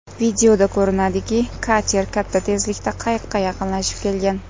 Videoda ko‘rinadiki kater katta tezlikda qayiqqa yaqinlashib kelgan.